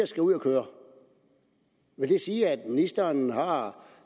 skal ud at køre vil det sige at ministeren har